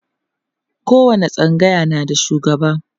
kowani tsangaya na da shugaba